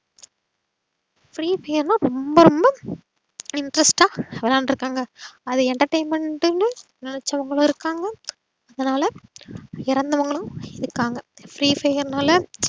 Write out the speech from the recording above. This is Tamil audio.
free fair னா ரொம்ப ரொம்ப interest ஆ விளையான்றுக்காங்க அத entertainment ன்னு நெலச்சவங்களும் இருக்காங்க அதுனால எறந்தவங்களும் இருக்காங்க free fair னால